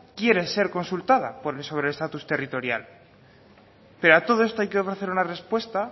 quiere ser consultada por sobre estatus territorial pero a todo esto hay que ofrecer una respuesta